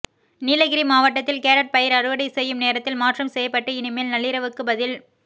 நீலகிரி மாவட்டத்தில் கேரட் பயிர் அறுவடை செய்யும் நேரத்தில் மாற்றம் செய்யப்பட்டு இனிமேல் நள்ளிரவுக்கு பதில்